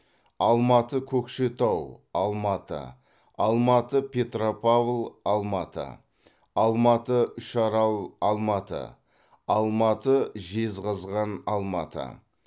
алматы көкшетау алматы алматы петропавл алматы алматы үшарал алматы алматы жезқазған алматы